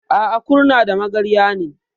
A'a, Kurna da Magarya ne.